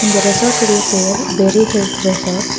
இந்த ரெசோட்டோடய பெயர் பெர்ரி ஹில்ஸ் ரெசார்ட் .